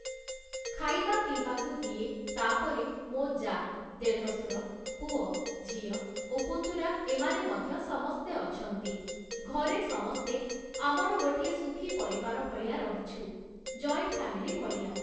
ଖାଇବା ପିଇବାକୁ ଦିଏ ତାପରେ ମୋ' ଯାଆ, ଦେଢ଼ସୁର, ପୁଅ, ଝିଅ ଓ ପୁତୁରା ଏମାନେ ମଧ୍ୟ ସମସ୍ତେ ଅଛନ୍ତି । ଘରେ ସମସ୍ତେ ଆମର ଗୋଟିଏ ସୁଖୀ ପରିବାର ଭଳିଆ ରହିଛୁ, ଜଏଣ୍ଟ୍‌ ଫ୍ୟାମିଲି ଭଳିଆ ।